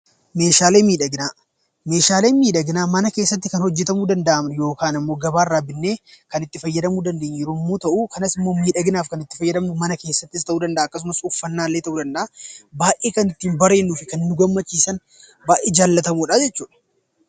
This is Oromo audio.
Meeshaaleen miidhaginaa mana keessatti kan hojjatamuu danda'an yookaan immoo gabaarraa bitanii kan itti fayyadamuu dandeenyu yommuu ta'u, kanas immoo miidhaginaaf kan itti fayyadamnu mana keessatti ta'uu danda'a akkasumas uffannaa ta'uu danda'a baay'ee kan ittiin bareennuu fi nu gammachiisan baay'ee jaallatamoodha jechuudha.